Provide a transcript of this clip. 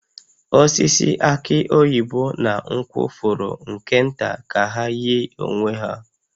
Osisi aki oyibo na nkwụ fọrọ nke nta ka ha yie onwe ha